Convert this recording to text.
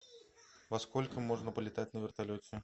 во сколько можно полетать на вертолете